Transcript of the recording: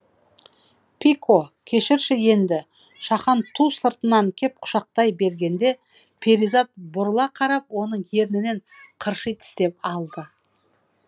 пико кешірші енді шахан ту сыртынан кеп құшақтай бергенде перизат бұрыла қарап оның ернінен қырши тістеп алды